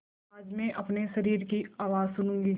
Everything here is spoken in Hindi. आज मैं अपने शरीर की आवाज़ सुनूँगी